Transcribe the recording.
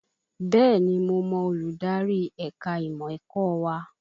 Bẹ́ẹ̀ni mo mọ olùdarí ẹ̀ka ìmọ̀ ẹ̀kọ́ wa